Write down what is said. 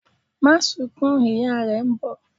Máa sunkún! ìyá rẹ̀ n bọ̀'